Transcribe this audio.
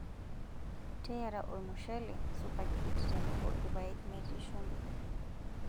Teyiara olmushele, supageti tenebo ilpayek metii shumbi.